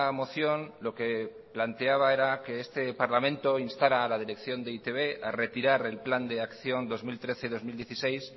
moción lo que planteaba era que este parlamento instara a la dirección de e i te be a retirar el plan de acción dos mil trece dos mil dieciséis